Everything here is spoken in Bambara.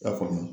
I y'a faamu